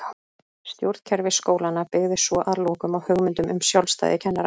Stjórnkerfi skólanna byggði svo að lokum á hugmyndum um sjálfstæði kennara.